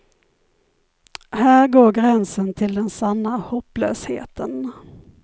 Här går gränsen till den sanna hopplösheten.